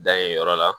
Dan ye yɔrɔ la